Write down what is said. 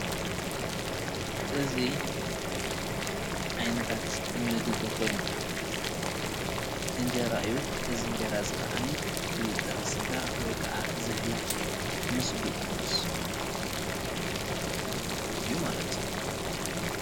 እዙይ ካብ ዓይነታት ምግቢ ኾይኑ እንጀራ እዩ። እዚ እንጀራ እዙይ ካዓ ብጥረ ስጋ ወይ ካዓ ዛሕላ ምስ ድቁስ ምግቢ እዩ ማለት እዩ።